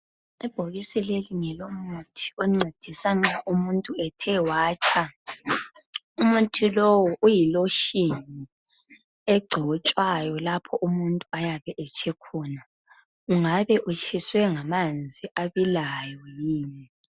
Ibhokisi leli ngelomuthi oncedisa nxa umuntu ethe watsha. Umuthi lowu uyi lotion egcotshwayo lapho umuntu ayabe etshe khona. Ungabe utshiswe ngamanzi abilayo yini?